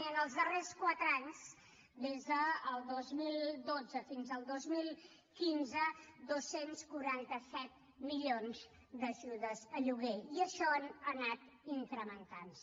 i en els darrers quatre anys des del dos mil dotze fins al dos mil quinze dos cents i quaranta set milions d’ajudes a lloguer i això ha anat incrementant se